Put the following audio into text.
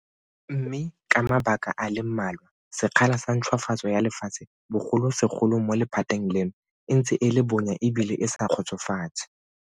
Mme ka mabaka a le mmalwa, sekgala sa ntšhwafatso ya lefatshe bogolosegolo mo lephateng leno e ntse e le bonya ebile e sa kgotsofatse.